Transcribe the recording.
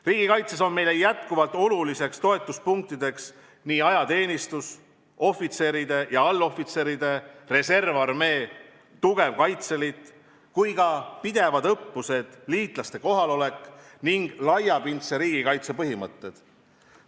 Riigikaitses on meile jätkuvalt olulised toetuspunktid ajateenistus, ohvitserid ja allohvitserid, reservarmee, tugev Kaitseliit ja ka pidevad õppused, liitlaste kohalolek ning laiapindse riigikaitse põhimõtted.